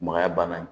Magaya banna